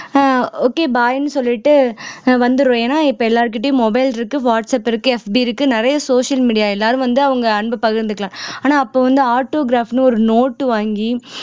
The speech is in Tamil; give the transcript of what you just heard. ஆஹ் okay bye ன்னு சொல்லிட்டு ஆஹ் வந்திருவோம் ஏன்னா இப்ப எல்லார்கிட்டேயும் mobile இருக்கு whatsapp இருக்கு FB இருக்கு நிறைய social media எல்லாரும் வந்து அவங்க அன்பை பகிர்ந்துக்கலாம் ஆனா அப்ப வந்து autograph ன்னு ஒரு நோட்டு வாங்கி